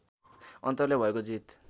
अन्तरले भएको जीत